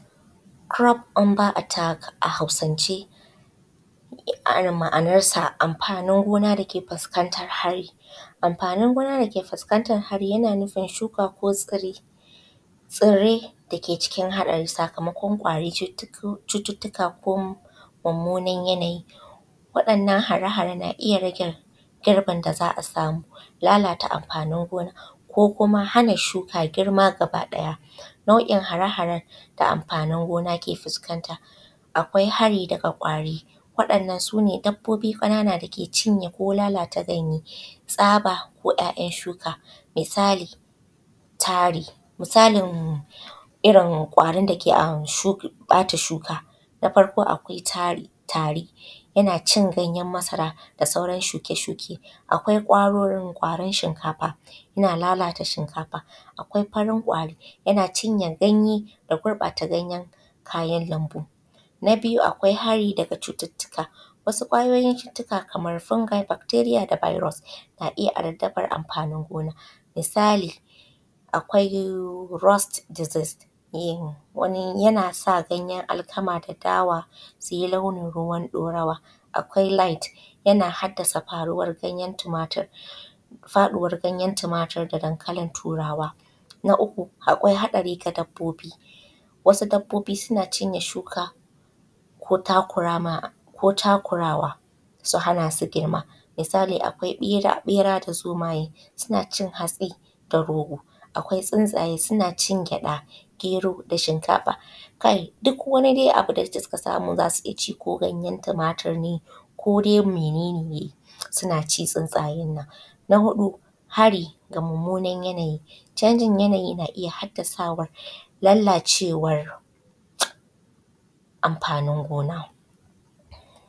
Kurof unda atak a hausance ma’anarsa amfanin gona dake fuskantar hari. Amfanin gona dake fuskantar hari yana nufin shuka ko tsire dake cikin haɗari sakamakon kwari, cututtuka ko mummunan yanayi. Waɗannan hare hare na iyya rage girbin da za’a samu, lalata amfanin gona ko kuma hana shuka ta girma. Nau’in hare haren da amfanin gona ke fuskan ta akwai hari daga kwari waɗannan sune dabbobi ƙanana dake cinye ko lalata ɗanye tsabo ko ‘ya’’yan’ shuka. Misali irrin kwarin dake lalata shuka na farko akwai tari, tari yanacin gayen masara da sauran shuke shuke. Akwai kwaron shinkafa yanacinye shinkafa yana lalata shinkafa. Akwai farin kwari yana cinye ganye ya gurɓata ganyen kayan lambu.. Na biyu akwai hari daga cututtuka wasu kwayoyin cututtuka kamar fungai, bakteriya da biros na iyya ardabar amfanin gona misali akwai ros dizez yana sa ganyen alkama da dawa suyi launi ruwan ɗorawa. Akwai lait yana haddasa faɗuwar ganyen tumatur da dankali turawa. Na uku akwai haɗari ga dabbobi wasu babbobin na cinye shuka ko takurawa su hana su sakewa. Misali akwai ɓera da zomaye sunacin hatsi da rogo. Akwai tsintsaye sunacin gyaɗa, gero da shinkafa kai duk wani dai abunda suka samu zasu iyyaci ko ganyen tumatur kodai mene ne sunaci tsuntsayennan. Na huɗu hari ga mummunan yanayi, mummunan yanayi na iyya sawa lalacewar amfanin gona.